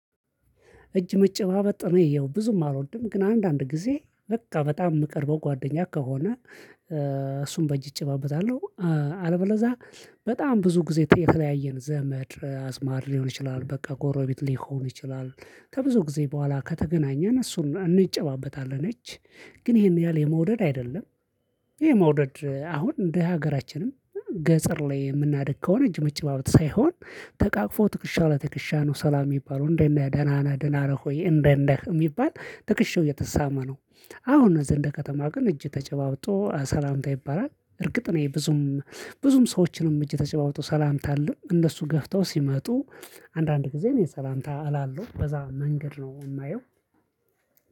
እጅ መጨባበጥ ነው ይየው ብዙም አልወድም ግን አንዳንድ ጊዜ በቃ በጣም የምቀርበው ጓደኛ ከሆነ እሱን በእጅ እጨባበጣለሁ። አለበለዚያ በጣም ብዙ ጊዜ የተለያየን ዘመድ አዝማድ ሊሆን ይችላል በቃ ጎረቤት ሊሆን ይችላል። ከብዙ ጊዜ በኋላ ከተገናኘን እሱን እንጨባበጣለን እጅ ግን ይሄን ያህል የመውደድ አይደለም። ይሄ መውደድ አሁን እንደ ሀገራችንም ገጸር ላይ የምናደክመው እጅ መጨባበት ሳይሆን ተቃቅፎ ትክሻ ለትክሻ ነው። ሰላም የሚባለው እንደነ ደህና እንደነ ደህና ሆይ እንደ እንደ የሚባል ትክሽው እየተሳመ ነው። አሁን እነዚህ እንደ ከተማ ግን እጅ ተጨባብጦ ሰላምታ ይባላል። እርግጥ ነው ይሄ ብዙም ብዙም ሰዎችንም እጅ ተጨባብጦ ሰላምታ አለን እንደሱ ገፍተው ሲመጡ አንዳንድ ጊዜ የሰላምታ አላለው በዛ መንገድ ነው የማየው።